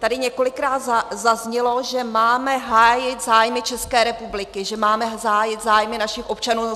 Tady několikrát zaznělo, že máme hájit zájmy České republiky, že máme hájit zájmy našich občanů.